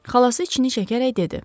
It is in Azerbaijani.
Xalası içini çəkərək dedi.